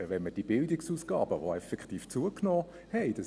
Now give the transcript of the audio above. Es ist richtig, dass die Bildungsausgaben zugenommen haben.